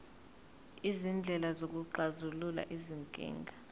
izindlela zokuxazulula izinkinga